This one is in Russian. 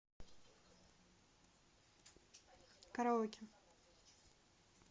караоке